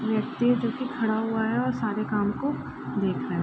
व्यक्ति देखिये खड़ा हुआ है और सारे काम को देख रहा है।